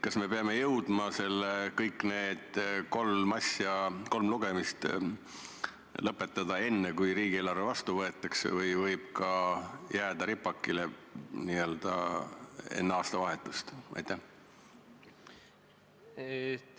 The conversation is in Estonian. Kas me peame jõudma kõik need kolm lugemist lõpetada enne, kui riigieelarve vastu võetakse, või võib see jääda ka enne aastavahetust ripakile?